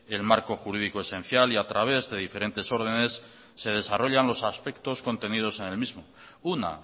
el marco jurídico esencial y a través de diferentes órdenes se desarrollan los aspectos contenidos en el mismo una